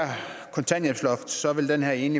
sådan at man